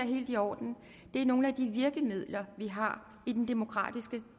helt i orden det er nogle af de virkemidler vi har i den demokratiske